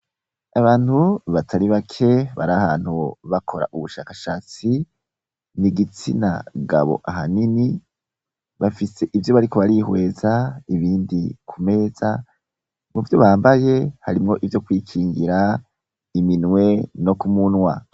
Abantu batari bake bari ahantu bakora ubushakashatsi nigitsina gabo ahanini bafise ivyo bariko barihweza ibindi kumeza muvyo bambaye harimwo ivyo kwingira iminwe no kumunwa.